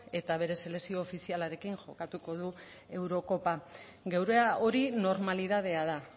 eta bere selekzio ofizialarekin jokatuko du eurokopa geurea hori normalidadea da